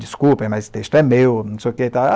Desculpem, mas esse texto é meu, não sei o que e tal